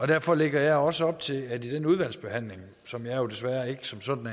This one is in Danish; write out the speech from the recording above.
derfor lægger jeg også op til at vi under den udvalgsbehandling som jeg jo desværre som sådan